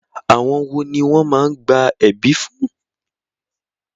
Àwọn wo ni wọ́n máá ń gba ẹ̀bí fún?